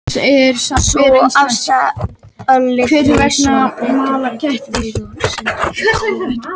Sú afstaða olli því svo að Bretar reiddust við og sendu herskip á vettvang.